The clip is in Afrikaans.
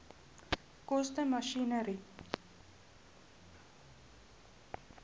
koste masjinerie